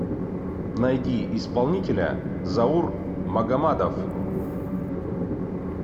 найди исполнителя заур магомадов